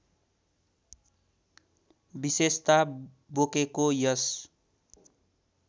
विशेषता बोकेको यस